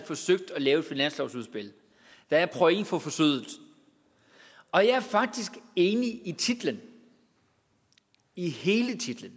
forsøgt at lave et finanslovsudspil der er point for forsøget og jeg er faktisk enig i titlen i hele titlen